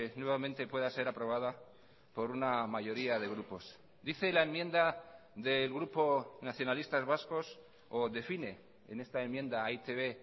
nuevamente pueda ser aprobada por una mayoría de grupos dice la enmienda del grupo nacionalistas vascos o define en esta enmienda a e i te be